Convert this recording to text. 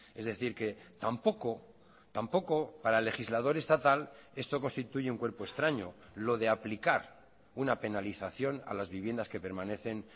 es decir que tampoco tampoco para el legislador estatal esto constituye un cuerpo extraño lo de aplicar una penalización a las viviendas que permanecen